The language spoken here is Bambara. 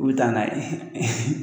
U bi taa n'a ye